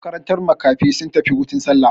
Makarantar makafi sun tafi hutun sallah.